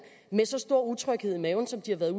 med så stor utryghed i maven som det har været